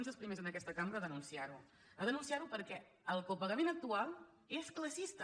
vam ser els primers en aquesta cambra a denunciar ho a denunciar ho perquè el copagament actual és classista